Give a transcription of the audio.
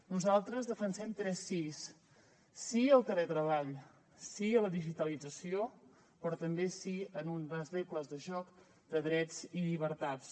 nosaltres defensem tres sís sí al teletreball sí a la digitalització però també sí a unes regles de joc de drets i llibertats